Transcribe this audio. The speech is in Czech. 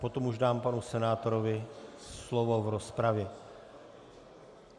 Potom už dám panu senátorovi slovo v rozpravě.